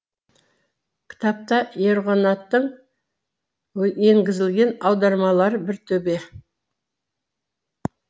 кітапта ерғанаттың енгізілген аудармалары бір төбе